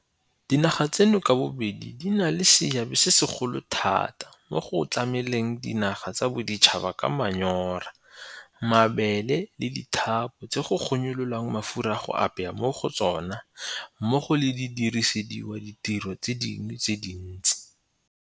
Dinaga tseno ka bobedi di na le seabe se segolo thata mo go tlameleng dinaga tsa boditšhabatšhaba ka manyora, mabele le dithapo tse go gonyololwang mafura a go apaya mo go tsona mmogo le go dirisediwa ditiro tse dingwe tse dintsi.